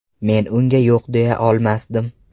Men unga yo‘q deya olmasdim.